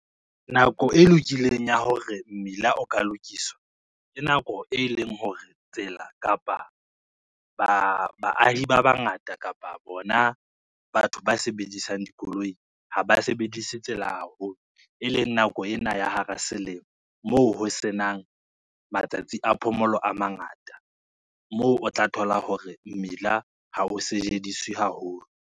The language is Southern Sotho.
Nako e lokileng ya hore mmila o ka lokiswa, ke nako e leng hore tsela kapa baahi ba bangata kapa bona batho ba sebedisang dikoloi, ha ba sebedise tsela haholo e leng nako ena ya hara selemo, moo ho senang matsatsi a phomolo a mangata, moo o tla thola hore mmila ha o sejediswe haholo.